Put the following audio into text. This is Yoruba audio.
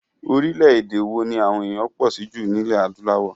Orílẹ̀èdè wo ni àwọn ènìyàn pọ̀ sí jùlọ ní ilẹ̀ adúláwọ̀?